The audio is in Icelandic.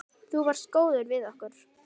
Þú varst góður við okkur.